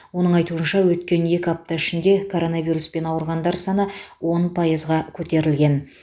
оның айтуынша өткен екі апта ішінде коронавируспен ауырғандар саны он пайызға көтерілген